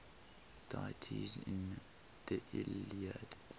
deities in the iliad